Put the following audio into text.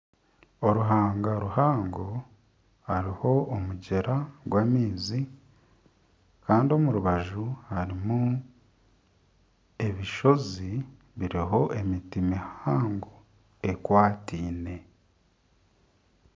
Oruhanga ruhango hariho omugyera gw'amaizi Kandi omurubaju harimu ebishozi biriho emiti mihango ekwatiine.